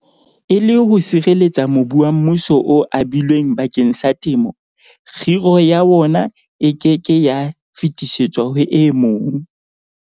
E le ho sireletsa mobu wa mmuso o abilweng bakeng sa temo, kgiro ya wona e ke ke ya fetisetswa ho e mong.